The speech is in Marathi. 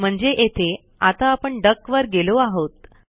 म्हणजे येथे आता आपण डक वर गेलो आहोत